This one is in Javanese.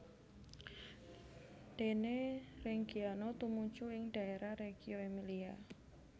Dene Reggiano tumuju ing dhaérah Reggio Emilia